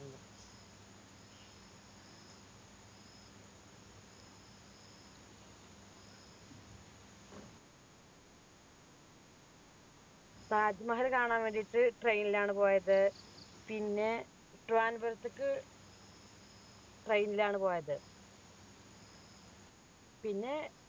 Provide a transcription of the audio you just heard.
താജ്മഹൽ കാണാൻ വേണ്ടിട്ട് train ലാണ് പോയത് പിന്നെ ത്തേക്ക് train ലാണ് പോയത് പിന്നെ